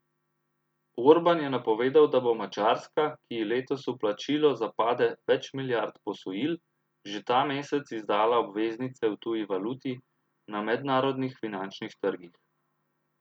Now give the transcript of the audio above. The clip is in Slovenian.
Orban je napovedal, da bo Madžarska, ki ji letos v plačilo zapade več milijard posojil, že ta mesec izdala obveznice v tuji valuti na mednarodnih finančnih trgih.